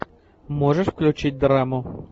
можешь включить драму